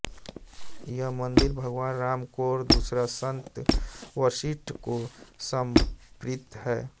एक मंदिर भगवान राम को और दूसरा संत वशिष्ठ को समर्पित है